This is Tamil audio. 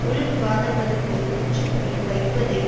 உள் விவாதங்களுக்கு முற்றுப்புள்ளி வைப்பதை